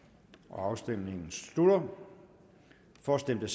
afstemningen slutter for stemte